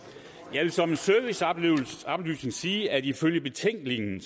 jeg vil som en serviceoplysning sige at ifølge betænkningen